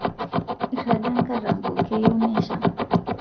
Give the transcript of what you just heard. iraga nkatambo keyieu nesha